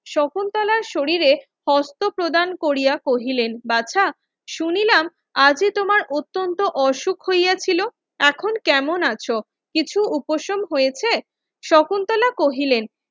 শকুন্তলার শরীরে হস্ত প্রদান কোরিয়া কহিলেন বাছা শুনিলাম আজি তোমার অত্যন্ত অসুখ হইয়াছিল এখন কেমন আছো কিছু উপসং হয়েছে শকুন্তলা কহিলেন